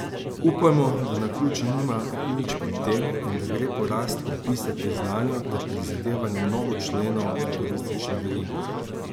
Upajmo, da naključje nima nič pri tem in da gre porast pripisati znanju ter prizadevanju mnogo členov v turistični verigi.